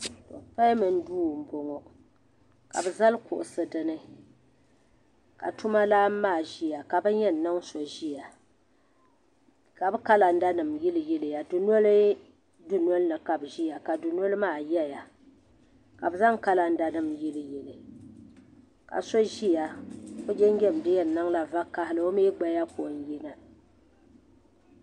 Pɛamin duu mbɔŋɔ ka bi zali kuɣisi dini ka tuma lan maa ziya ka bini yɛn niŋ so ziya ka bi kalanda nim yili yiliya dunoli dunolini ka bi ziya ka du noli maa yɛya ka bi zaŋ kalanda nim yili yiliya ka so ziya o jinjɛm di yɛn niŋla vakahili o mi gbaya bi yina.